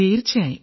തീർച്ചയായും